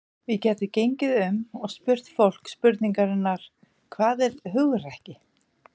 Við gætum gengið um og spurt fólk spurningarinnar: Hvað er hugrekki?